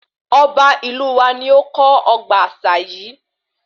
Ọba ìlú wa ní ó kọ́ ọgbà àṣà yìí